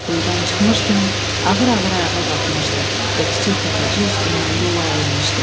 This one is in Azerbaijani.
Quyudan çıxmış kimi ağır-ağır ayağa qalxmışdı və kiçik təpəcik üstündən yola enmişdi.